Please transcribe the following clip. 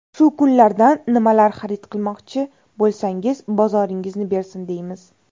Shu kunlardan nimalar xarid qilmoqchi bo‘lsangiz, bozoringizni bersin, deymiz!